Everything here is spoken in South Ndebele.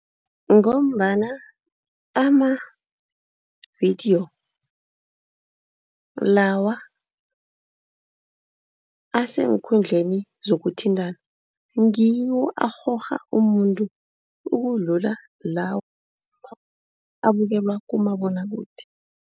Ngombana amavidiyo lawa aseenkundleni zokuthintana ngiwo arhorha umuntu ukudlula la abukelwa kumabonwakude.